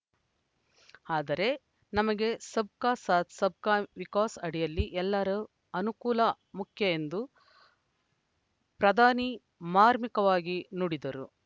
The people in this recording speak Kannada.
ಆದರೆ ನಮಗೆ ಸಬ್‌ ಕಾ ಸಾಥ್‌ ಸಬ್‌ ಕಾ ವಿಕಾಸ್‌ ಅಡಿಯಲ್ಲಿ ಎಲ್ಲರ ಅನುಕೂಲ ಮುಖ್ಯ ಎಂದು ಪ್ರಧಾನಿ ಮಾರ್ಮಿಕವಾಗಿ ನುಡಿದರು